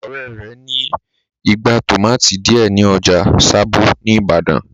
Ọ̀rẹ́ rẹ̀ ní igbá tòmátì díẹ̀ ní ọjà sábó ní ìbàdàn.